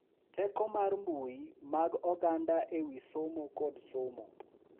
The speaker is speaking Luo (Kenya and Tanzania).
Teko mar mbui mag oganda e wi somo kod somo